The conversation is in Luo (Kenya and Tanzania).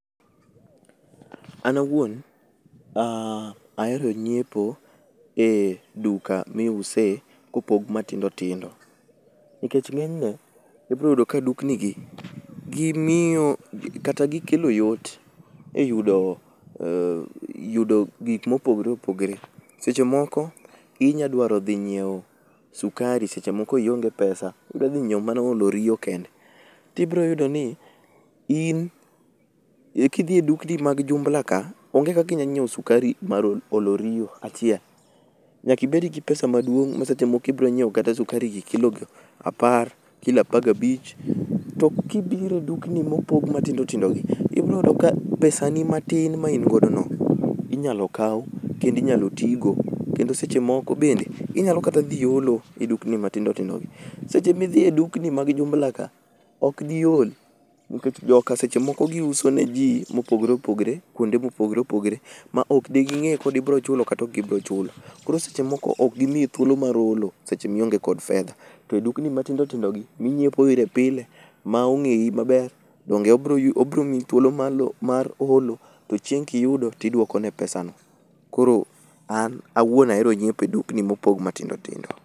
An awuon, ahero nyiepo e duka miuse kopog matindo tindo. Nikech ng'enyne, ibroyudo ka duknigi gimiyo kata gikelo yot e yudo gik mopogre opogre. Seche moko inyadwaro dhi nyiewo sukari seche moko ionge pesa idwa dhi nyiewo mana olo riyo kende. Tibroyudo ni in kidhie dukni mag jumla ka, onge kakinya nyiewo sukari mar olo riyo achiel. Nyakibed gi pesa maduong', ma seche moko iboronyiewo kata sukari gi kilo go apar, kilo apagabich. To kibiro e dukni mopog matindotindo gi, ibroyudo ka pesa ni matin maingodo no inyalo kaw kendo inyalo tigo. Kendo seche moko bende inyalo kata dhi holo e dukni matindotindo gi. Seche midhi e dukni mag jumla ka, ok dihol nikech joka seche moko giuso ne ji mopogre opogre kuonde mopogre opogre ma ok de ging'e koda ibrochulo kata okibrochulo. Koro seche moko okgimiyi thuolo mar hole seche mionge kod fedha. To dukni matindo tindo gi minyiepo ire pile, ma ong'eyi maber, donge obromiyi thuolo mar holo to chieng' kiyudo tidwokone pesa no. Koro an awuon ahero nyiepe dukni mopog matindo tindo.